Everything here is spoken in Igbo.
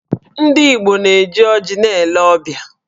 Ndị Igbo na-eji ọjị na-ele ọbịa